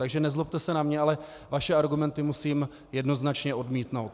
Takže nezlobte se na mě, ale vaše argumenty musím jednoznačně odmítnout.